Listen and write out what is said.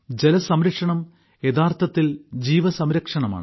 ജലസംരക്ഷണം യഥാർത്ഥത്തിൽ ജീവസംരക്ഷണമാണ്